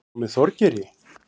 Var hún með Þorgeiri?